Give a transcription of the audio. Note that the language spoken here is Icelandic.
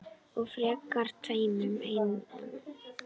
Og frekar tveimur en einum.